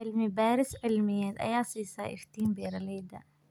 Cilmi-baaris cilmiyeed ayaa siisa iftiin beeralayda.